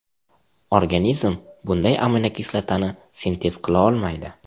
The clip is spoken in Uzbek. Organizm bunday aminokislotani sintez qilaolmaydi.